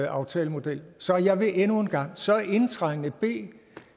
aftalemodel så jeg vil endnu en gang så indtrængende bede